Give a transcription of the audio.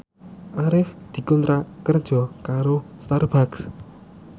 Arif dikontrak kerja karo Starbucks